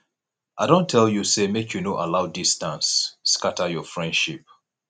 i don tell you sey make you no allow distance scatter your friendship